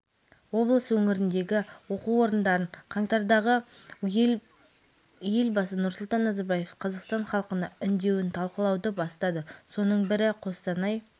арқылы алау жағу рәсімі мен гала-концерт өткізіліп жатқан орталық алаңға апарды содан соң эстафета алауын